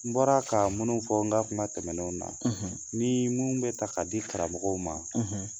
N bɔra ka minnu fɔ n ka kuma tɛmɛnenw na ni minnu bɛ ta ka di karamɔgɔw ma